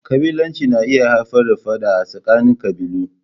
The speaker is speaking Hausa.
ƙabilanci yana iya haifar da Fada a tsakanin qabilu.